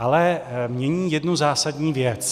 Ale mění jednu zásadní věc.